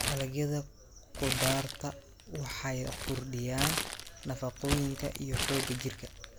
Dalagyada khudaarta waxay kordhiyaan nafaqooyinka iyo xoogga jirka.